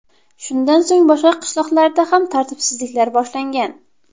Shundan so‘ng boshqa qishloqlarda ham tartibsizliklar boshlangan.